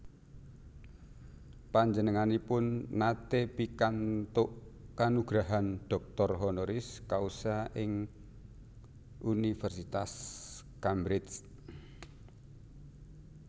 Panjenenganipun naté pikantuk kanugrahan doctor honoris causa ing Universitas Cambridge